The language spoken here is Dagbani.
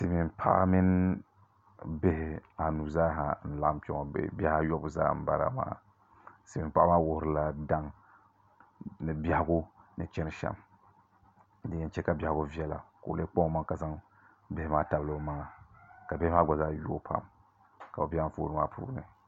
Silimiin paɣa mini bihi a nu zaaha n laɣim kpɛ ŋɔ bɛɛ biha ayɔbu n bala maa wuhirila daŋ ni bɛhagu ni chani shɛm din yɛn cha ka bɛhaku viɛla ko olee kpan o maŋa ka zaŋ bihi maa tabili o maŋa